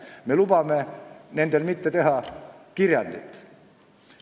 Me lubame mitte teha kirjandit.